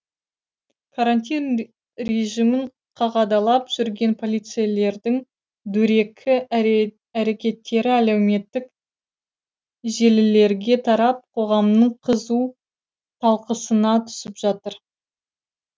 карантин режимін қадағалап жүрген полицейлердің дөрекі әрекеттері әлеуметтік желілерге тарап қоғамның қызу талқысына түсіп жатыр